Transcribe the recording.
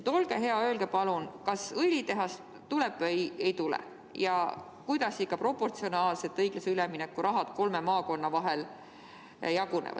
Olge hea, öelge palun, kas õlitehas tuleb või ei tule ja kuidas ikka proportsionaalselt õiglase ülemineku raha kolme maakonna vahel jaguneb.